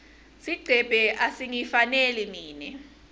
sigcebhe asingifaneli mine